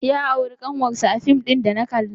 Ya auri ƙanwarsa a fim ɗin da na kalla.